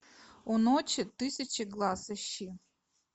у ночи тысячи глаз ищи